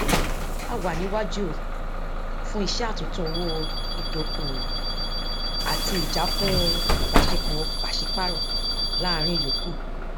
a wà ní iwájú fún iṣẹ àtúntò owó ìdókòwò àti ìjákùn ìbáṣepọ pàsípàrọ láàrin yòókù